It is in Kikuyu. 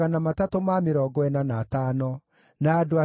na Gideli, na Gaharu, na Reaia,